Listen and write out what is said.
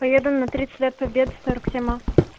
поеду на тридцать лет победы сорок семь а